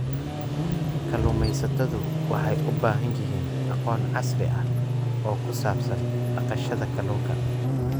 Kalluumaysatadu waxay u baahan yihiin aqoon casri ah oo ku saabsan dhaqashada kalluunka.